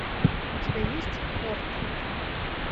у тебя есть хортон